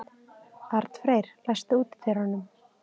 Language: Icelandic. Arnfreyr, læstu útidyrunum.